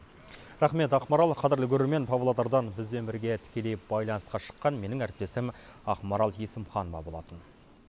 рақмет ақмарал қадірлі көрермен павлодардан бізбен бірге тікелей байланысқа шыққан менің әріптесім ақмарал есімханова болатын